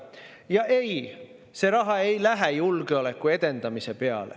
Ja see raha ei lähe julgeoleku edendamiseks.